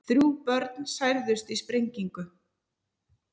Þrjú börn særðust í sprengingu